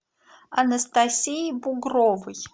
анастасии бугровой